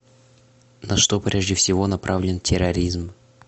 на что прежде всего направлен терроризм